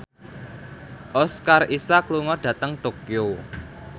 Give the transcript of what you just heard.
Oscar Isaac lunga dhateng Tokyo